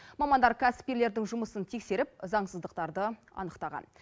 мамандар кәсіпкерлердің жұмысын тексеріп заңсыздықтарды анықтаған